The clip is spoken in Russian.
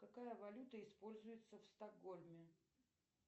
какая валюта используется в стокгольме